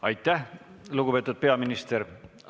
Aitäh, lugupeetud peaminister!